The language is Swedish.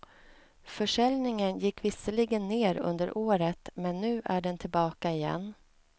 Försäljningen gick visserligen ner under året men nu är den tillbaka igen.